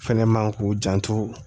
Fɛnɛ man k'u janto